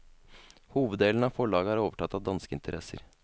Hoveddelen av forlaget er overtatt av danske interesser.